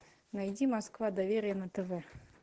найди москва доверие на тв